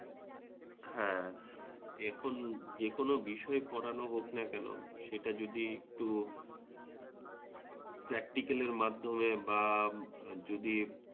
হ্যাঁ এখন যে কোনও বিষয়ই পড়ানো হোক না কেন সেটা যদি একটু প্র্যাক্টিকেলের মাধ্যমে বা যদি